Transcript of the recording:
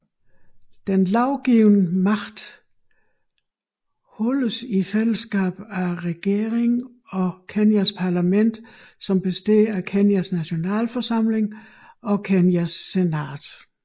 Den lovgivende magt holdes i fællesskab af regeringen og Kenyas parlament som består af Kenyas Nationalforsamling og Kenyas senat